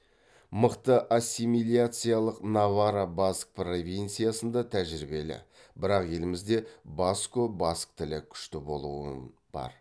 мықты ассимиляциялық наварра баск провинциясында тәжірибелі бірақ елімізде баско баск тілі күшті болуын бар